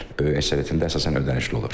Böyük əksəriyyətində əsasən ödənişli olur.